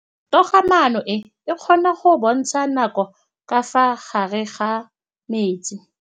Toga-maanô e, e kgona go bontsha nakô ka fa gare ga metsi.